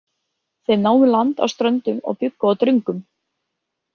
Þeir námu land á Ströndum og bjuggu á Dröngum.